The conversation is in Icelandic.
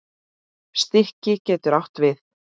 Stiki getur átt við